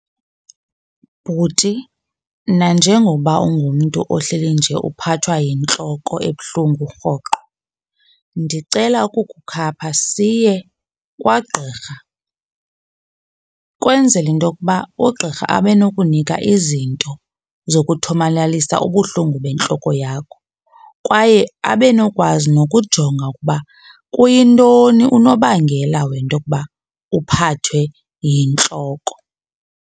Bhuti, nanjengoba ungumntu ohleli nje uphathwa yintloko ebuhlungu rhoqo ndicela ukukukhapha siye kwagqirha, kwenzele into yokuba ugqirha abe nokunika izinto zokuthomalalisa ubuhlungu bentloko yakho. Kwaye abenokwazi nokujonga ukuba kuyintoni unobangela wento yokuba uphathwe yintloko.